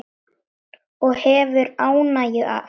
Og hefur ánægju af.